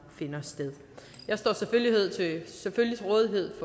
finder sted jeg står selvfølgelig til rådighed